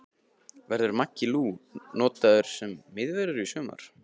Verður Maggi Lú notaður sem miðvörður í sumar?